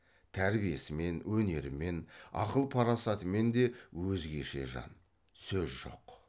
тәрбиесімен өнерімен ақыл парасатымен де өзгеше жан сөз жоқ